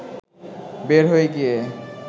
বের হয়ে গিয়ে